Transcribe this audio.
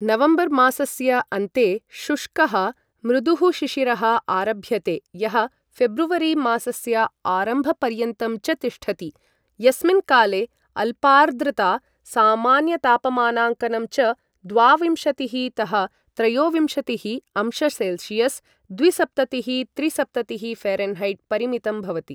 नवम्बरमासस्य अन्ते शुष्कः, मृदुः शिशिरः आरभ्यते, यः फेब्रुवरीमासस्य आरम्भपर्यन्तं च तिष्ठति यस्मिन् काले अल्पार्द्रता, सामान्यतापमानाङ्कनं च द्वाविंशतिः तः त्रयोविंशतिः अंशसेल्सियस् द्विसप्ततिः त्रिसप्ततिः फै. परिमितं भवति।